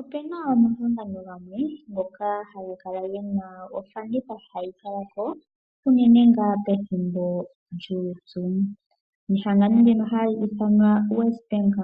Opena omahangano gamwe ngoka haga kala gena ofanditha hayi kala ko, unene ngaa pethimbo lyuupyu. Nehangano ndino hali ithanwa WesBank